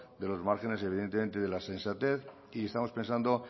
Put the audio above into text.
de los márgenes evidentemente de la sensatez y estamos pensando